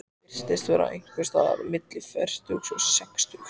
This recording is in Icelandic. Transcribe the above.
Hann virtist vera einhvers staðar milli fertugs og sextugs.